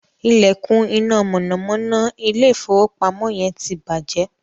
ilekun iná mọ̀nàmọ́ná ilé ìfowópamọ́ yen tí bàjé